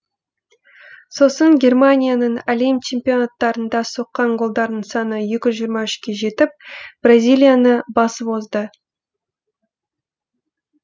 сосын германияның әлем чемпионаттарында соққан голдарының саны екі жүз жиырма үшке жетіп бразилияны басып озды